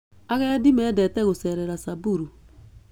Agendi mendete gũcerera Samburu.